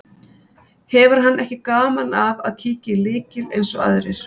Hefur hann ekki gaman af að kíkja í lykil eins og aðrir.